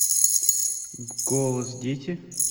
голос дети